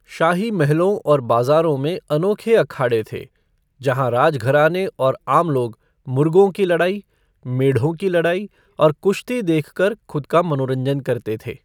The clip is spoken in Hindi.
शाही महलों और बाजारों में अनोखे अखाड़े थे, जहाँ राजघराने और आम लोग मुर्गों की लड़ाई, मेढ़ों की लड़ाई और कुश्ती देखकर खुद का मनोरंजन करते थे।